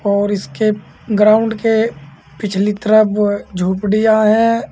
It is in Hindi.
और इसके ग्राउंड के पिछली तरफ झोपड़ियां हैं।